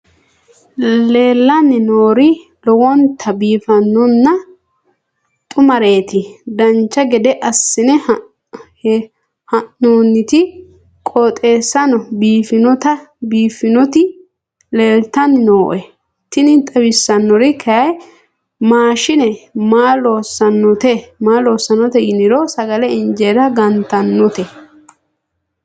leellanni nooeri lowonta biiffinonna xumareeti dancha gede assine haa'noonniti qooxeessano biiffinoti leeltanni nooe tini xawissannori kayi maashshine maa lossannote yiniro sagale injeera gantannote